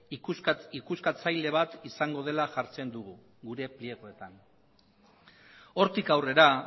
ikuskatzaile bat izango dela jartzen dugu gure pliegoetan hortik aurrera